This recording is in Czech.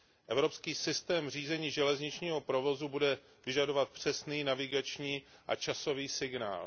Evropský systém řízení železničního provozu bude vyžadovat přesný navigační a časový signál.